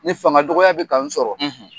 Ni fanga dɔgɔya bɛ kan sɔrɔ